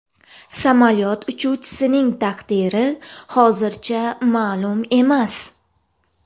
Samolyot uchuvchisining taqdiri hozircha ma’lum emas.